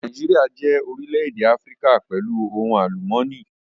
Nàìjíríà jẹ́ orílè-èdè Áfíríkà pẹ̀lú ohun àlùmọ́nì